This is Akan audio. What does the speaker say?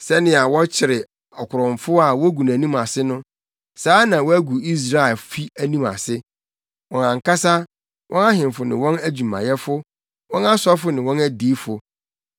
“Sɛnea wɔkyere ɔkorɔmfo a wogu nʼanim ase no, saa na wɔagu Israelfi anim ase, wɔn ankasa, wɔn ahemfo ne wɔn adwumayɛfo, wɔn asɔfo ne wɔn adiyifo.